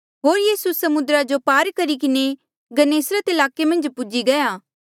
होर यीसू समुद्रा रे पार करी किन्हें गन्नेसरत ईलाके मन्झ पूजी गया